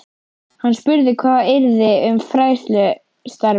Hann spurði hvað yrði um fræðslustarfið.